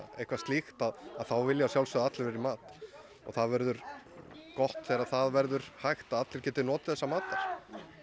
eitthvað slíkt að þá vilja að sjálfsögðu allir vera í mat og það verður gott þegar það verður hægt að allir geti notið þessa matar